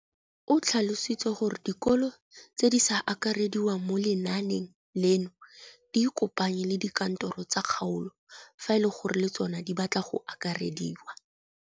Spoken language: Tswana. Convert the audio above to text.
O tlhalositse gore dikolo tse di sa akarediwang mo lenaaneng leno di ikopanye le dikantoro tsa kgaolo fa e le gore le tsona di batla go akarediwa.